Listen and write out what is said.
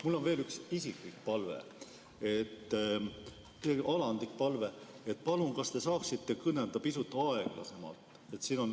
Mul on veel üks isiklik alandlik palve: palun, kas te saaksite kõnelda pisut aeglasemalt?